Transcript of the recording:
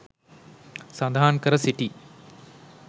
සඳහන් කර සිටී.